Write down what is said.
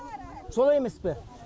солай емес пе